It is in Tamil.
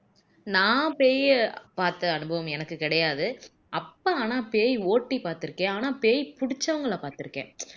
நான் பேய பார்த்த அனுபவம் எனக்கு கிடையாது அப்பா ஆனா பேய் ஓட்டி பார்த்து இருக்கேன் ஆனா பேய் புடிச்சவங்களை பாத்துருக்கேன்